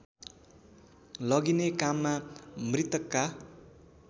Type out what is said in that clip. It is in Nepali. लगिने काममा मृतकका